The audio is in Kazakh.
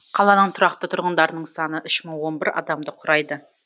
қаланың тұрақты тұрғындарының саны үш мың он бір адамды құрайды